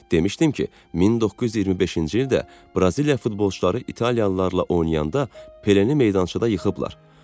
Demişdim ki, 1925-ci ildə Braziliya futbolçuları İtaliyalılarlarla oynayanda Pelenı meydançıda yıxıblar.